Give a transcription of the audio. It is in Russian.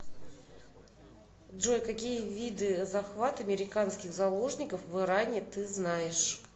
джой какие виды захват американских заложников в иране ты знаешь